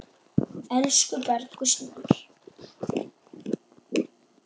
Elsku Bergur Snær.